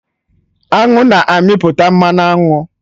Aṅụ na-amịpụta Mmanụ aṅụ